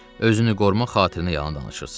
Özünü qorumaq xatirinə yalan danışırsız.